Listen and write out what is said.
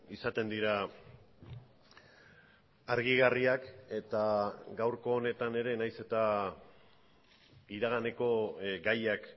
izaten dira argigarriak eta gaurko honetan ere nahiz eta iraganeko gaiak